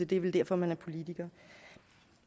det er vel derfor man er politiker